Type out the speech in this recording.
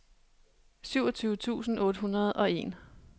syvogtyve tusind otte hundrede og en